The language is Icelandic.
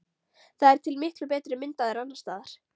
Það er til miklu betri mynd af þér annars staðar.